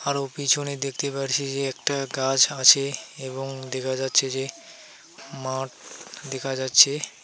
এবং পিছনে দেখতে পাচ্ছি যে একটা গাছ আছে এবং দেখা যাচ্ছে যে মাঠ দেখা যাচ্ছে.